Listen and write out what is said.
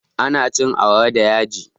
Ana cin awara da yaji